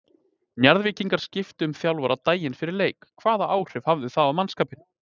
Njarðvíkingar skiptu um þjálfara daginn fyrir leik, hvaða áhrif það hafði á mannskapinn?